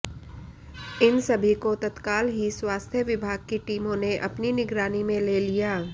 इन सभी को तत्काल ही स्वास्थ्य विभाग की टीमों ने अपनी निगरानी में ले लिया